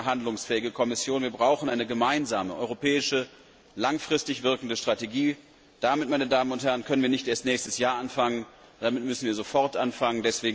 Wir brauchen eine handlungsfähige Kommission, wir brauchen eine gemeinsame, europäische, langfristig wirkende Strategie. Damit können wir nicht erst nächstes Jahr anfangen, damit müssen wir sofort anfangen.